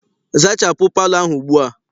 Zachapụ palọ ahụ ugbua!